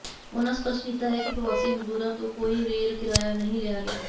ਉਨ੍ਹਾਂ ਸਪਸ਼ਟ ਕੀਤਾ ਕਿ ਪ੍ਰਵਾਸੀ ਮਜ਼ਦੂਰਾਂ ਤੋਂ ਕੋਈ ਰੇਲ ਕਿਰਾਇਆ ਨਹੀਂ ਲਿਆ ਗਿਆ